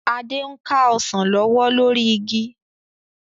Adé ń ka Ọsàn lọ́wọ́ lórí igi